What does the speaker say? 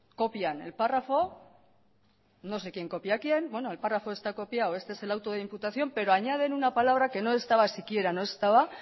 copian el párrafo no sé quién copia a quién el párrafo está copiado este es el auto de imputación pero añaden una palabra que no estaba siquiera no estaba